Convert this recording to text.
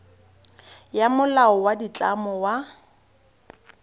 ya molao wa ditlamo wa